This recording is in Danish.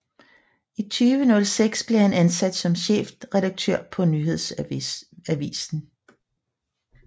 I 2006 blev han ansat som chefredaktør på Nyhedsavisen